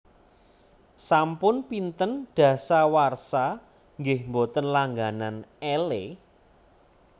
Sampun pinten dasawarsa nggeh mboten langganan Elle?